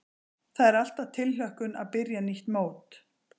Það er alltaf tilhlökkun að byrja nýtt mót.